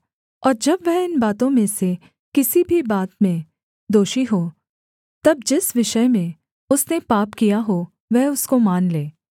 और जब वह इन बातों में से किसी भी बात में दोषी हो तब जिस विषय में उसने पाप किया हो वह उसको मान ले